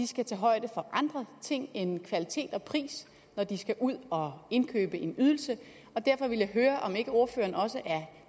skal tage højde for andre ting end kvalitet og pris når de skal ud og indkøbe en ydelse og derfor vil jeg høre om ikke ordføreren også er